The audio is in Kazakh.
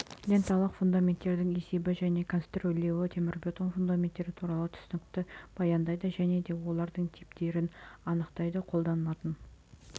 ленталық фундаменттің есебі және конструирлеуі темірбетон фундаменттері туралы түсінікті баяндайды және де олардың типтерін атайды қолданылатын